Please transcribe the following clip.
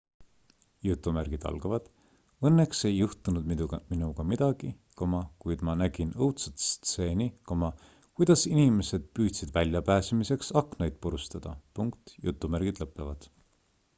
"""õnneks ei juhtunud minuga midagi kuid ma nägin õudsat stseeni kuidas inimesid püüdsid väljapääsemiseks aknaid purustada.